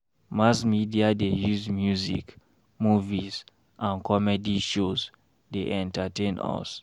Mass media dey use music, movies and comedy shows dey entertain us.